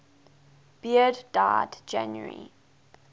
beard died january